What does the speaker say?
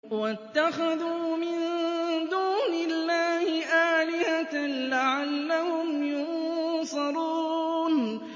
وَاتَّخَذُوا مِن دُونِ اللَّهِ آلِهَةً لَّعَلَّهُمْ يُنصَرُونَ